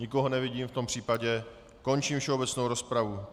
Nikoho nevidím, v tom případě končím všeobecnou rozpravu.